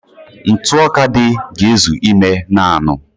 Ntụ ọka dị ga-ezu ime naanụ